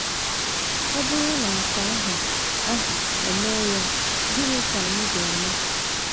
Ọ bụrụ na nke ahụ ahụ emee anyị, gịnị ka anyị ga - eme?